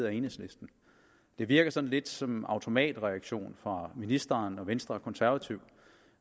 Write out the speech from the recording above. af enhedslisten det virker sådan lidt som en automatreaktion fra ministeren og venstre og konservative